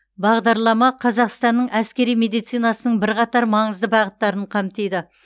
бағдарлама қазақстанның әскери медицинасының бірқатар маңызды бағыттарын қамтиды